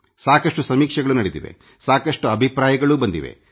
ಸಾಕಷ್ಟು ಸಮೀಕ್ಷೆಗಳು ನಡೆದಿವೆ ಸಾಕಷ್ಟು ಅಭಿಪ್ರಾಯಗಳೂ ಬಂದಿವೆ